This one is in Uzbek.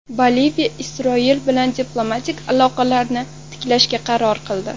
Boliviya Isroil bilan diplomatik aloqalarni tiklashga qaror qildi.